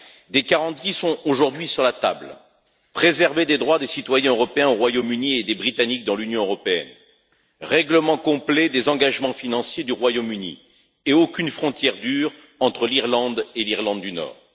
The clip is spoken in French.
Des garanties sont aujourd'hui sur la table préserver les droits des citoyens européens au Royaume Uni et ceux des Britanniques dans l'Union européenne, règlement complet des engagements financiers du Royaume Uni et aucune frontière dure entre l'Irlande et l'Irlande du Nord.